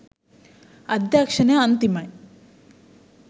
අධ්‍යක්ෂණය අන්තිමයි